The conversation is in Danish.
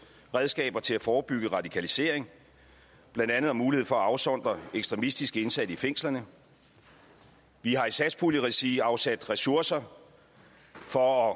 redskaber til at forebygge radikalisering blandt andet mulighed for at afsondre ekstremistiske indsatte i fængslerne vi har i satspuljeregi afsat ressourcer for at